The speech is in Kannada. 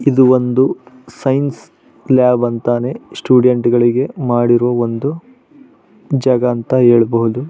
ಇದು ಒಂದು ಸೈನ್ಸ್ ಲ್ಯಾಬ್ ಅಂತಾನೆ ಸ್ಟೂಡೆಂಟ್ ಗಳಿಗೆ ಮಾಡಿರುವ ಒಂದು ಜಾಗ ಅಂತಾನೆ ಹೇಳಬಹುದು.